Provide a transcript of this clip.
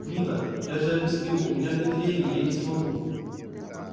нина я же объяснил у меня внедрение я не смогу